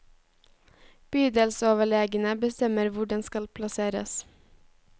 Bydelsoverlegene bestemmer hvor den skal plasseres.